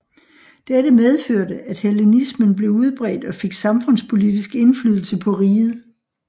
Dette medførte at hellenismen blev udbredt og fik samfundspolitisk indflydelse på riget